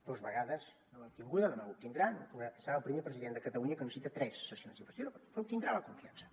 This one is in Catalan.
dos vegades no l’ha obtinguda demà l’obtindrà serà el primer president de catalunya que necessita tres sessions d’investidura però obtindrà la confiança